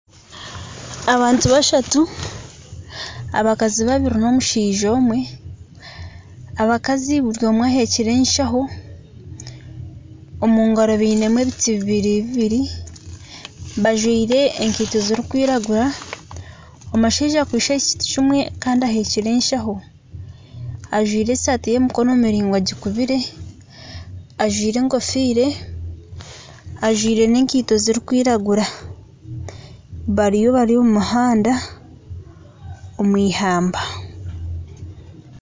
Abantu bashatu abakazi babiri n'omushaija omwe, abakazi buri omwe ahekire enshaho, omu ngaro baine ebiti bibiri bibiri bajwire enkaito zirikwiragura, omushaija akwitse ekiti kimwe kandi ahekire enshaho ajwaire esaati y'emikono miringwa agikubire ajwaire enkofiira, ajwire n'enkaito zirikwiragura bariyo bari omu muhanda omu ihamba